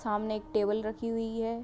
सामने एक टेबल रखी हुई है।